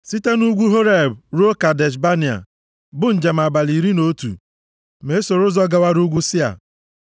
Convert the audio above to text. Site nʼugwu + 1:2 Ugwu Horeb Aha ọzọ a na-akpọ ugwu Horeb bụ ugwu Saịnaị. Horeb ruo Kadesh Banea, bụ njem abalị iri na otu ma e soro ụzọ gawara ugwu Sia.